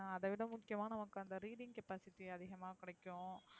ஹான் அத விட முக்கியமா நமக்கு அந்த reading capacity அதிகமா கிடைக்கும்